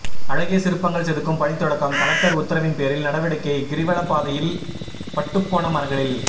அழகிய சிற்பங்கள் செதுக்கும் பணி தொடக்கம் கலெக்டர் உத்தரவின்பேரில் நடவடிக்கை கிரிவலப்பாதையில் பட்டுப்போன மரங்களில்